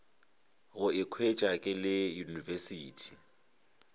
go ikhwetša ke le university